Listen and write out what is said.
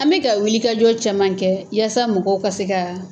An bɛ ka wilikajɔ caman kɛ yaasa mɔgɔw ka se kaa